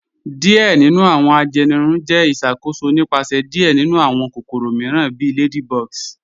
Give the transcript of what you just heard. Diẹ̀ nínu awọn ajẹ́nìrùn jẹ́ ìṣakóṣò nípasẹ̀ diẹ̀ nínu awọn kòkòrò míìràn bí ladybugs.